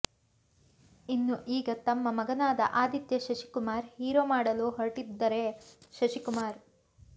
ಇನ್ನು ಈಗ ತಮ್ಮ ಮಗನಾದ ಆದಿತ್ಯ ಶಶಿಕುಮಾರ್ ಹೀರೋ ಮಾಡಲು ಹೊರಟಿದ್ದರೆ ಶಶಿಕುಮಾರ್